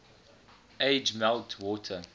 age melt water